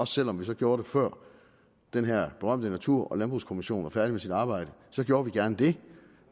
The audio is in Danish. selv om vi gjorde det før den her berømte natur og landbrugskommission er færdig med sit arbejde så gjorde vi gerne det